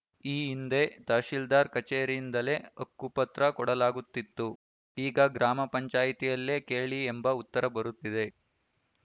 ಈ ಹಿಂದೆ ತಾಸೀಲ್ದಾರ್‌ ಕಚೇರಿಯಿಂದಲೇ ಹಕ್ಕುಪತ್ರ ಕೊಡಲಾಗುತ್ತಿತ್ತು ಈಗ ಗ್ರಾಮ ಪಂಚಾಯಿತಿಯಲ್ಲೇ ಕೇಳಿ ಎಂಬ ಉತ್ತರ ಬರುತ್ತಿದೆ